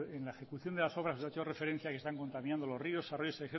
que en la ejecución de las obras que ha hecho referencia que están contaminando los ríos arroyos